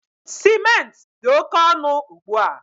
Ciment dị oke ọnụ ugbu a